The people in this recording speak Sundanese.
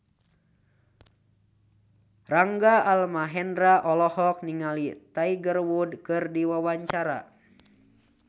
Rangga Almahendra olohok ningali Tiger Wood keur diwawancara